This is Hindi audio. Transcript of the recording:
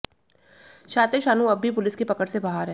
शातिर शानू अब भी पुलिस की पकड़ से बाहर है